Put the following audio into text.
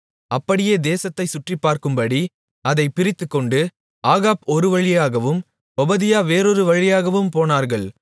அப்படியே தேசத்தைச் சுற்றிப்பார்க்கும்படி அதைப் பிரித்துக்கொண்டு ஆகாப் ஒரு வழியாகவும் ஒபதியா வேறொரு வழியாகவும் போனார்கள்